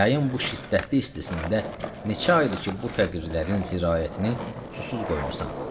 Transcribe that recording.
Yayın bu şiddətli istisində neçə aydır ki, bu fəqirlərin zirayətini susuz qoymusan.